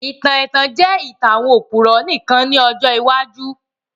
Ìtàn ètàn jẹ ìtàn àwon òpùrọ́ nìkan ni ọjọ́ iwájú